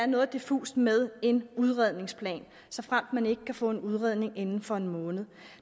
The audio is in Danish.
noget diffust med en udredningsplan såfremt man ikke kan få en udredning inden for en måned